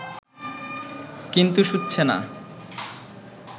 কিন্তু শুচ্ছে না